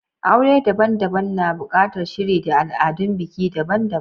Aure daban-daban na buƙatar shiri da al'adun biki daban-daban.